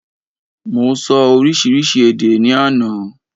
Mo sọ oríṣiríṣi èdè ni àná